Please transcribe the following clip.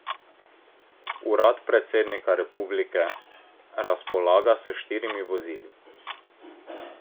Urad predsednika republike razpolaga s štirimi vozili.